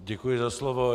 Děkuji za slovo.